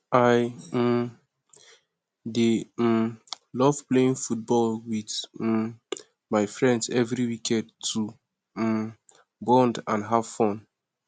i um dey um love playing football with um my friends every weekend to bond and have fun